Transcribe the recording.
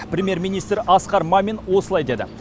премьер министр асқар мамин осылай деді